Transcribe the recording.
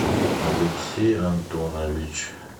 алексей антонович